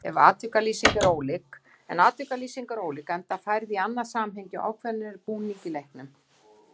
En atvikalýsing er ólík, enda færð í annað samhengi og ákveðnari búning í leiknum.